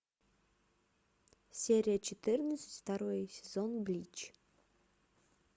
серия четырнадцать второй сезон блич